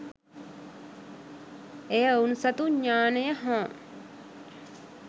එය ඔවුන් සතු ඤාණය හා